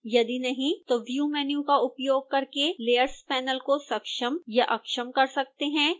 यदि नहीं तो हम view मैन्यू का उपयोग करके layers panel को सक्षम या अक्षम कर सकते हैं